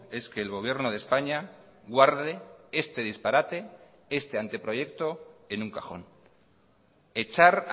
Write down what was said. es que el gobierno de españa guarde este disparate este anteproyecto en un cajón echar